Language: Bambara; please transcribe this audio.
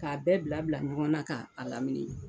Ka a bɛɛ bila bila ɲɔgɔn na ka a lamini.